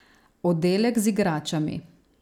Oddelek z igračami!